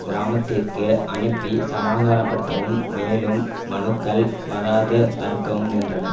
கிராமத்திற்கு அனுப்பி சமாதானப்படுத்தவும் மேலும் மனுக்கள் வராது தடுக்கவும் முயன்றன